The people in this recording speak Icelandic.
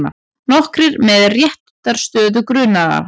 Nokkrir með réttarstöðu grunaðra